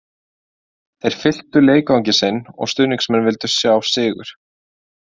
Þeir fylltu leikvanginn sinn og stuðningsmenn vildu sjá sigur